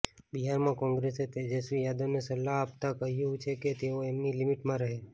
બિહારમાં કોંગ્રેસે તેજસ્વી યાદવને સલાહ આપતા કહ્યું છે કે તેઓ એમની લીમીટમાં રહે